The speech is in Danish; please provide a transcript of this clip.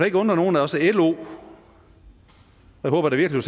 ikke undre nogen at også lo jeg håber da virkelig